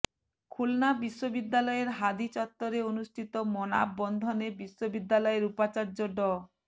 খুলনা বিশ্ববিদ্যালয়ের হাদি চত্বরে অনুষ্ঠিত মনাববন্ধনে বিশ্ববিদ্যালয়ের উপাচার্য ড